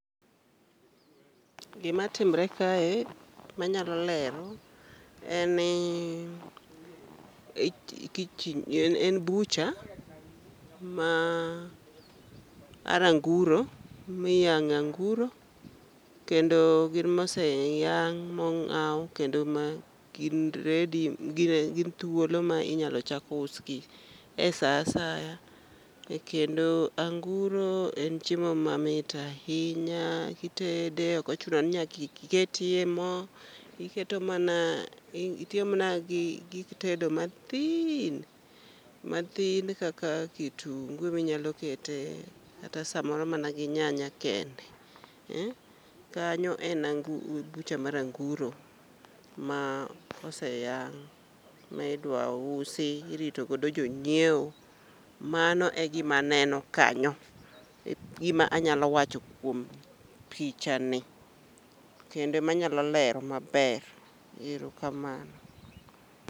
Gima timre kae manyalo lero en ni ,en butcher mar anguro, miyange anguro kendo gin moseyang mongao kendo ma gin ready, gin thuolo iinyalo chak usgi e saa asaya. Kendo anguro en chiemo mamit ahinya ma kitede ok ochuno ni nyaka iketie moo, iiketo mana, itiyo mana gi gik tedo mathin ,mathin kaka kitungu mikete kata samoro gi nyanya kende. Kanyo en butcher mar anguro ma oseyang midwa usi irito godo jonyiewo, mano e gima aneno kanyo, egima anyalo wacho kuom pichani kendo manyalo lero maber, erokamano